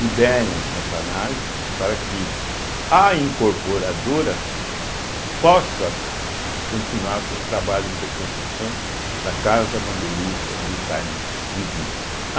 Liberem essa análise para que a incorporadora possa co continuar com os trabalhos de reconstrução da casa bandeirista do Itaim, Bibi. A